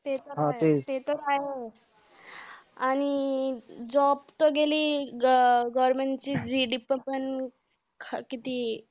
ते तर आहेच आणि job तर गेली. government ची GDP पण ख~ किती